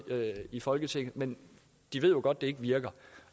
i folketinget men de ved jo godt at det ikke virker